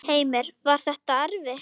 Heimir: Var þetta erfitt?